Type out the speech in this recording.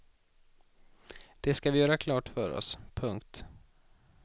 Det ska vi göra klart för oss. punkt